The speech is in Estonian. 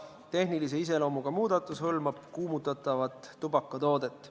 Tehnilise iseloomuga muudatus hõlmab kuumutatavat tubakatoodet.